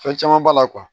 Fɛn caman b'a la